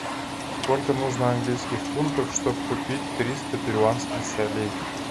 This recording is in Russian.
сколько нужно английских фунтов чтобы купить триста перуанских солей